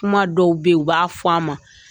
Kuma dɔw be yen, u b'a fɔ an ma.